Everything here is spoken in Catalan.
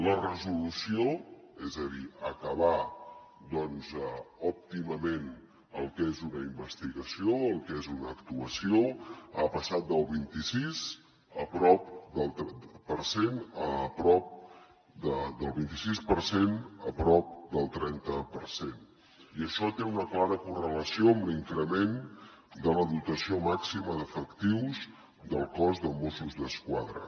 la resolució és a dir acabar doncs òptimament el que és una investigació el que és una actuació ha passat del vint i sis per cent a prop del trenta per cent i això té una clara correlació amb l’increment de la dotació màxima d’efectius del cos de mossos d’esquadra